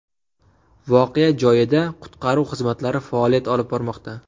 Voqea joyida qutqaruv xizmatlari faoliyat olib bormoqda.